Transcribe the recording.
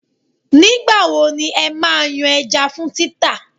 Nígbà wo ni ẹ máa yan ẹja fún títà?